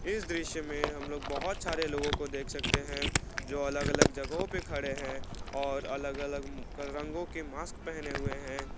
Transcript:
इस दृश्य में हम लोग बहोत सारे लोगो को देख सकते हैं जो अलग अलग जगहों पे खड़े हैं और अलग अलग रंगों के मास्क पहने हुए है।